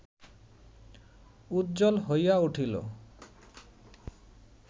উজ্জ্বল হইয়া উঠিল